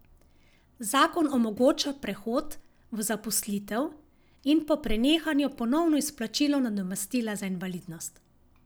Zakon omogoča prehod v zaposlitev in po prenehanju ponovno izplačilo nadomestila za invalidnost.